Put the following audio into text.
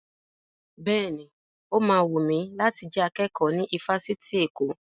Bẹ́ẹ̀ni, ó ma wùn mi láti jẹ akẹ́kọ̀ọ́ ní ifásitì Èkó